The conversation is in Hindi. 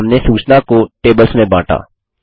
और हमने सूचना को टेबल्स में बाँटा